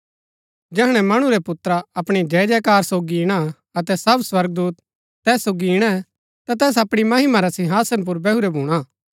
जैहणै मणु रै पुत्रा अपणी जयजयकार सोगी ईणा अतै सब स्वर्गदूत तैस सोगी ईणै ता तैस अपणी महिमा रै सिंहासना पुर बैहुरै भूणा